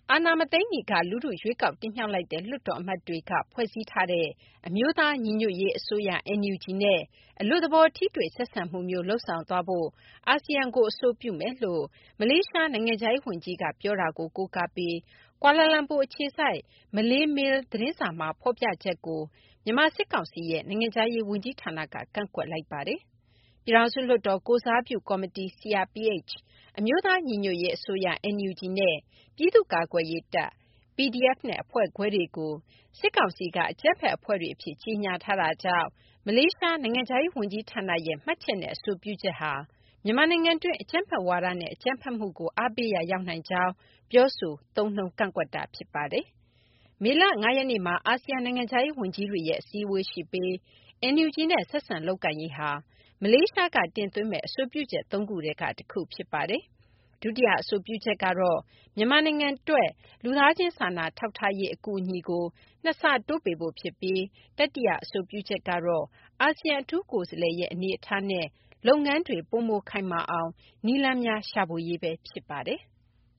အာဏာမသိမ်းမီက လူထု ရွေးကောက်တင်မြှောက်လိုက်တဲ့ လွှတ်တော်အမတ်တွေက ဖွဲ့စည်းလိုက်ကြတဲ့ အမျိုးသားညီညွတ်ရေးအစိုးရ (NUG) နဲ့ အလွတ်သဘော ထိတွေ့ဆက်ဆံမှုမျိုး လုပ်ဆောင်သွားဖို့ အာဆီယံကို အဆိုပြုမယ်လို့ မလေးရှား နိုင်ငံခြားရေးဝန်ကြီးက ပြောတာကို ကိုးကားပြီး ကွာလာလမ်ပူ အခြေစိုက် မလေးမေးလ်သတင်းစာမှာ ဖော်ပြချက်ကို မြန်မာ စစ်ကောင်စီရဲ့ နိုင်ငံခြားရေး ဝန်ကြီးဌာနက ကန့်ကွက်လိုက်ပါတယ်။ ပြည်ထောင်စု လွှတ်တော် ကိုယ်စားပြု ကော်မတီ CRPH၊ အမျိုးသား ညီညွတ်ရေး အစိုးရ NUG နဲ့ ပြည်သူ့ ကာကွယ်ရေး တပ် PDF နဲ့ အဖွဲ့ခွဲတွေကို စစ်ကောင်စီက အကြမ်းဖက်အဖွဲ့တွေ အဖြစ် ကြေညာထားတာကြောင့် မလေးရှား နိုင်ငံခြားရေး ဝန်ကြီးဌာနရဲ့ မှတ်ချက်နဲ့ အဆိုပြုချက်ဟာ မြန်မာနိုင်ငံတွင်း အကြမ်းဖက်ဝါဒနဲ့ အကြမ်းဖက်မှုကို အားပေးရာ ရောက်နိုင်ကြောင်း ပြောဆိုကန့်ကွက်တာ ဖြစ်ပါတယ်။ မေလ ၅ ရက်နေ့မှာ အာဆီယံ နိုင်ငံခြားရေးဝန်ကြီးတွေရဲ့ အစည်းအဝေးရှိပြီး NUG နဲ့ ဆက်ဆံလုပ်ကိုင်ရေးဟာ မလေးရှားက တင်သွင်းမယ့် အဆိုပြုချက် ၃ ခုထဲက တခုဖြစ်ပါတယ်။ ဒုတိယအဆိုပြုချက်ကတော့ မြန်မာနိုင်ငံအတွက် လူသားချင်း စာနာထောက်ထားရေး အကူအညီကို ၂ ဆတိုးပေးဖို့ ဖြစ်ပြီး တတိယ အဆိုပြုချက်ကတော့ အာဆီယံ အထူးကိုယ်စားလှယ်ရဲ့ အနေအထားနဲ့ လုပ်ငန်းတွေ ပိုမိုခိုင်မာအောင် နည်းလမ်းများ ရှာဖွေရေးပဲ ဖြစ်ပါတယ်။